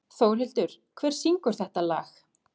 Þórhildur, hver syngur þetta lag?